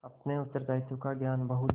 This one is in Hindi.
अपने उत्तरदायित्व का ज्ञान बहुधा